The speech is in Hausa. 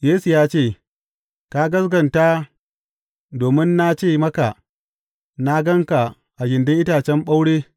Yesu ya ce, Ka gaskata domin na ce maka na gan ka a gindin itacen ɓaure.